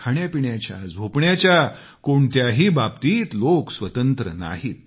खाण्यापिण्याच्या झोपण्याच्या कोणत्याही बाबतीत लोक स्वतंत्र नाहीत